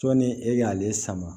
Sɔɔni e k'ale sama